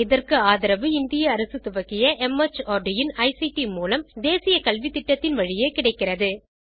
இதற்கு ஆதரவு இந்திய அரசு துவக்கிய மார்ட் இன் ஐசிடி மூலம் தேசிய கல்வித்திட்டத்தின் வழியே கிடைக்கிறது